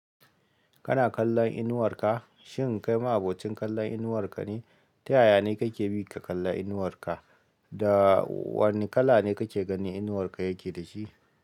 Kana kallon inuwar ka, shin kai ma abocin kallon inuwar ka ne? Ta yaya ne kake bi ka kalla inuwar ka, da wane kala ne kake ganin inuwar ka yake da shi?